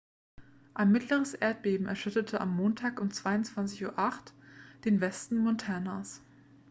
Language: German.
ein mittleres erdbeben erschütterte am montag um 22:08 uhr den westen montanas